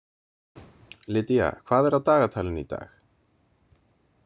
Lydia, hvað er á dagatalinu í dag?